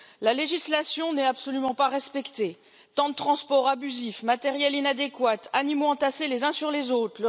La législation n'est absolument pas respectée temps de transport abusif, matériel inadéquat, animaux entassés les uns sur les autres.